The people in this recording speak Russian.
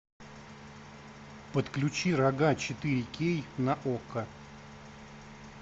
подключи рога четыре кей на окко